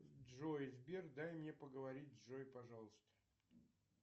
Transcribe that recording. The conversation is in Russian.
джой сбер дай мне поговорить с джой пожалуйста